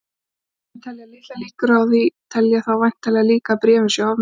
Þeir sem telja litlar líkur á því telja þá væntanlega líka að bréfin séu ofmetin.